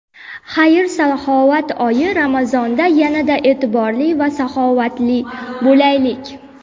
Xayr-saxovat oyi Ramazonda yanada e’tiborli va saxovatli bo‘laylik.